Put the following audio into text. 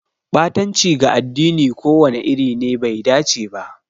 Ɓatanci ga addini ko wani iri ne bai dace ba.